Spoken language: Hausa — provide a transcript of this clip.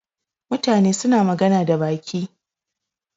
Mutane suna magana da baki.